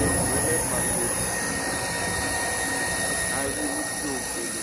Tʋ ɛfʋ yɛ lɛ pato li Ayʋɩ uti yɛ ofuele